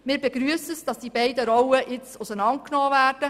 Wir begrüssen, dass die beiden Rollen auseinandergenommen werden.